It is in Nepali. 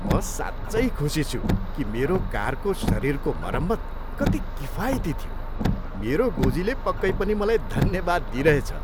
म साँच्चै खुसी छु कि मेरो कारको शरीरको मरम्मत कति किफायती थियो, मेरो गोजीले पक्कै पनि मलाई धन्यवाद दिइरहेछ!